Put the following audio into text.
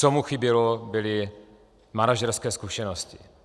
Co mu chybělo, byly manažerské zkušenosti.